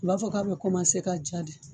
A b'a fɔ k'a bɛ ka ja de